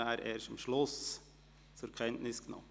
Die Kenntnisnahme erfolgt erst am Schluss.